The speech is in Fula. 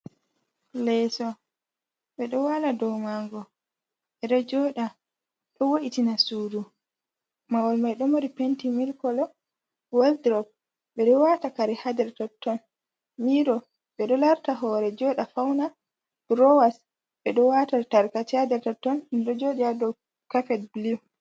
Leeso ɓe ɗo waala doo maango, ɓe ɗo jooɗa, ɗo wo’itina suudu, mahol mai ɗo mari penti milk kolo, wal'durop ɓe ɗo waata kari haa nder totton, miiro ɓe ɗo larta hoore jooɗa fauna, durowas ɓe ɗo waata tarkashe haa nder totton, ɗum ɗo jooɗii haa doo kapet bilu.